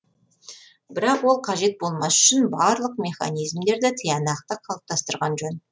бірақ ол қажет болмас үшін барлық механизмдерді тиянақты қалыптастырған жөн